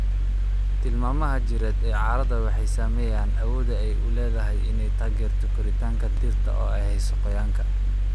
Tilmaamaha jireed ee carrada waxay saameeyaan awoodda ay u leedahay inay taageerto koritaanka dhirta oo ay hayso qoyaanka.